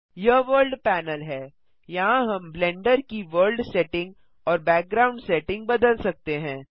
यह world panel हैयहाँ हम ब्लेंडर की वर्ल्ड सेटिंग और बैकग्राउंड सेटिंग बदल सकते हैं